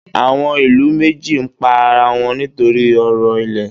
Àwọn ìlú méjì ń pa ara wọn nítorí ọ̀rọ̀ ilẹ̀.